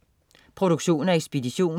Produktion og ekspedition: